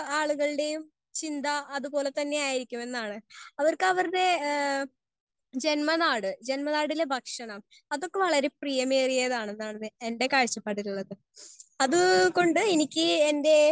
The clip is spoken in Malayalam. സ്പീക്കർ 1 ആളുകളുടെയും ചിന്ത അത് പോലെ തന്നെ ആയിരിക്കും എന്നാണ്. അവർക്ക് അവരുടെ ഹേ ജന്മനാട് ജന്മ നാടിന്റെ ഭക്ഷണം അതൊക്ക ഏറെ പ്രിയമേറിയവത്ണെന്നുള്ളതാണ് എന്റെ കാഴ്ചപാട്. അത് കൊണ്ട് എനിക്ക് എന്റെ